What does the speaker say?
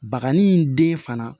Bakanni in den fana